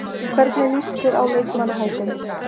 Hvernig lýst þér á leikmannahópinn?